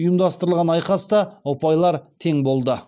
ұйымдастырылған айқаста ұпайлар тең болды